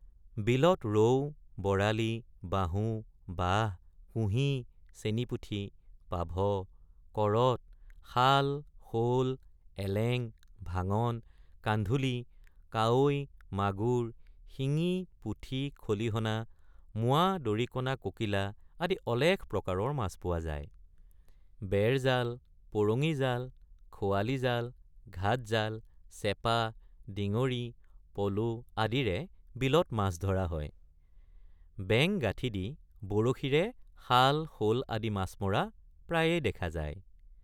বিলত ৰৌ বৰালী বাহু বাহ কুঢ়ি চেনিপুঠি পাভ কৰত শাল শল এলেং ভাঙন কান্ধুলি কাৱৈ মাগুৰ শিঙি পুঠি খলিহনা মোৱা দৰিকণা ককিলা আদি অলেখ প্ৰকাৰৰ মাছ পোৱা যায় ৷ বেৰজাল পৰঙীজাল খোৱালিজাল ঘাটজাল চেপা ডিঙৰি পলো আদিৰে বিলত মাছ ধৰা হয় ৷ বেং গাঠি দি বৰশীৰে শাল শল আদি মাছ মৰা প্ৰায়েই দেখা যায়।